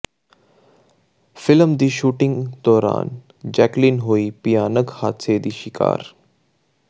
film ਦੀ shooting ਦੌਰਾਨ Jacqueline ਹੋਈ ਭਿਆਨਕ ਹਾਦਸੇ ਦੀ ਸ਼ਿਕਾਰ